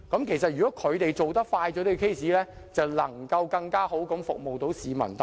其實如果他們能較快審結案件，便能更好地服務市民大眾。